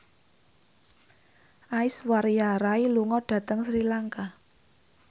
Aishwarya Rai lunga dhateng Sri Lanka